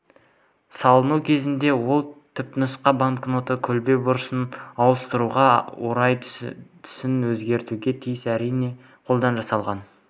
салынуы кездесті ол түпнұсқа банкноттың көлбеу бұрышын ауыстыруға орай түсін өзгертуге тиіс әрине қолдан жасалған